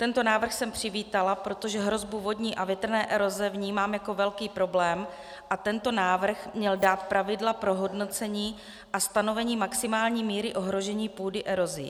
Tento návrh jsem přivítala, protože hrozbu vodní a větrné eroze vnímám jako velký problém a tento návrh měl dát pravidla pro hodnocení a stanovení maximální míry ohrožení půdy erozí.